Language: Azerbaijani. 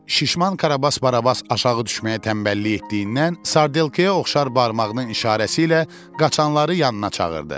Şişman Karabas Barabas aşağı düşməyə tənbəllik etdiyindən sardelkıya oxşar barmağının işarəsi ilə qaçanları yanına çağırdı.